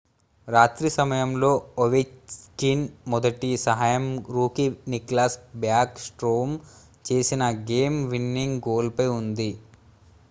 రాత్రి సమయంలో ఒవెచ్కిన్ మొదటి సహాయం రూకీ నిక్లాస్ బ్యాక్ స్ట్రోమ్ చేసిన గేమ్-విన్నింగ్ గోల్ పై ఉంది